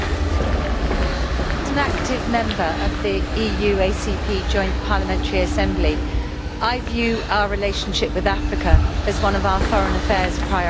As an active member of the EU-ACP Joint Parliamentary Assembly, I view our relationship with Africa as one of our foreign affairs priorities.